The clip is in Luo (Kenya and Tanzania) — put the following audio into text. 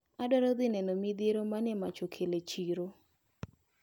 Adwaro dhi neno midhiero mane mach okelo e chiro.